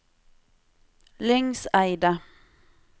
Lyngseidet